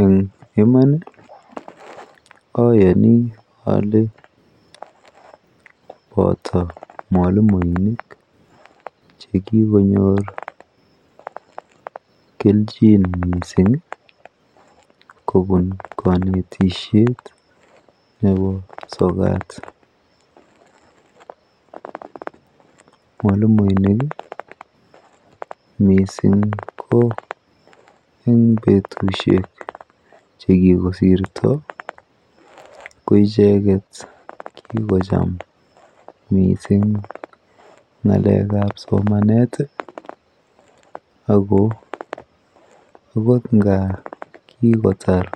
Eng iman ayeni ale boto mwalimuinik chekikonyor kelchin mising kobun kanetisyet nebo sokat, mwalimuinik mising ko eng betushek chekikosirto ko icheket kikocham mising ngalekab somanet, ako ako nga kikotar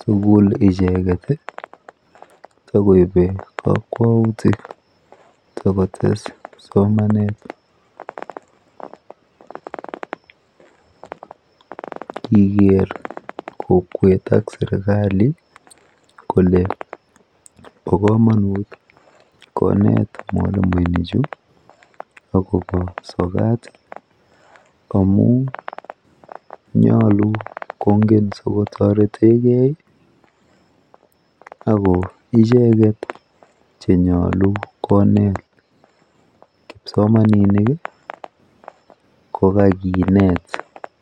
sukul icheket, takoibe kakwautik takotes somanet, kigere kokwet ak serikalit kole bo kamanut konet mwalimuinik chu , akobo sokat Ami nyalu kongen sikotoreteke ako icheket chenyalu konet kipsomaninik kokakinet.